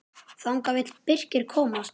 Þangað vill Birkir komast.